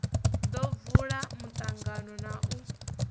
ḓo vula muṱangano na u